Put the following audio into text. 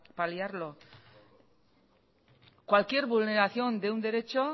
paliarlo cualquier vulneración de un derecho